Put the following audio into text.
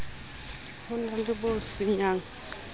ho na le bo senyang